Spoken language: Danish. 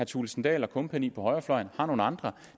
thulesen dahl og kompagni på højrefløjen har nogle andre